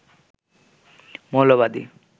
মৌলবাদী